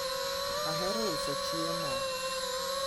ohero uso chiemo